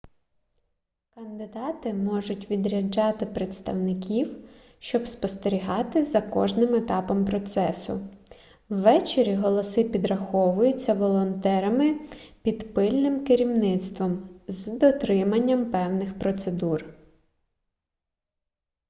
кандидати можуть відряджати представників щоб спостерігати за кожним етапом процесу ввечері голоси підраховуються волонтерами під пильним керівництвом з дотриманням певних процедур